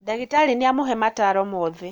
Ndagĩtarĩ nĩamũhe mataro mothe